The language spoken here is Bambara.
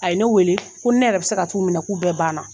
A ye ne weele ko ne yɛrɛ be se ka t'u minɛ k'u bɛɛ banna